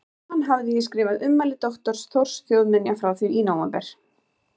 Á hann hafði ég skrifað ummæli doktors Þórs þjóðminja frá því í nóvember